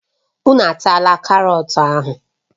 Unu ataala karọt ahụ!